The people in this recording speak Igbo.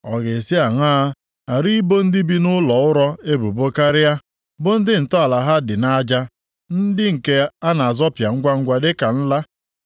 ọ ga-esi aṅaa ghara ibo ndị bi nʼụlọ ụrọ ebubo karịa, bụ ndị ntọala ha dị nʼaja, ndị nke a na-azọpịa ngwangwa dịka nla.